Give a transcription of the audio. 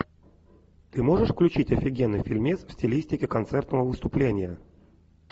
ты можешь включить офигенный фильмец в стилистике концертного выступления